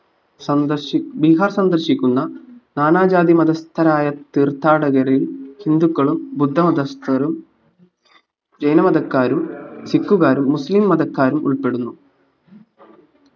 സന്ദർശിക്കു ബീഹാർ സന്ദർശിക്കുന്ന നാനാജാതി മതസ്ഥരായ തീർത്ഥാടകരിൽ ഹിന്ദുക്കളും ബുദ്ധ മതസ്ഥരും ജൈന മതക്കാരും സിക്കുകാരും മുസ്ലിം മതക്കാരും ഉൾപ്പെടുന്നു